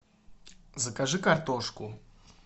закажи картошку